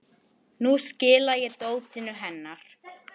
Nú skila ég dótinu hennar